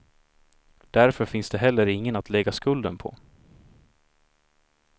Därför finns det heller ingen att lägga skulden på.